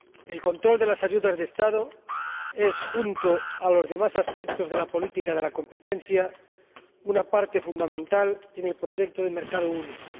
El control de las ayudas de Estado es, junto a los demás aspectos de la política de la competencia, una parte fundamental en el proyecto de mercado único.